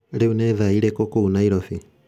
Rĩu nĩ thaa irĩkũ kũu Nairobi?